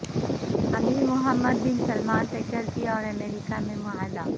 امیر Mohammed bin Salman faculty اور امریکہ میں معاہدہ